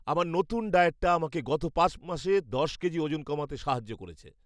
আমার নতুন ডায়েটটা আমাকে গত পাঁচ মাসে দশ কেজি ওজন কমাতে সাহায্য করেছে।